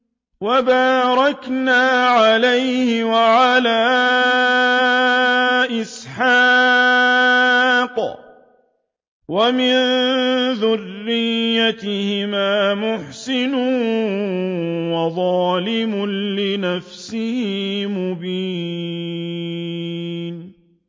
وَبَارَكْنَا عَلَيْهِ وَعَلَىٰ إِسْحَاقَ ۚ وَمِن ذُرِّيَّتِهِمَا مُحْسِنٌ وَظَالِمٌ لِّنَفْسِهِ مُبِينٌ